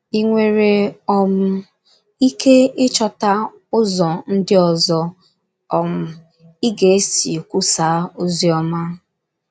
Ì nwere um ike ịchọta ụzọ ndị ọzọ um ị ga - esi kwusaa ozi ọma?